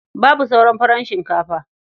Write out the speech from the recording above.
Babu sauran farar shinkafa.